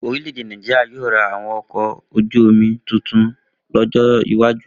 Orílẹ̀ èdè Nàìjíríà yóò ra àwọn ọkọ̀ ojú-omi tuntun lọ́jọ́ iwájú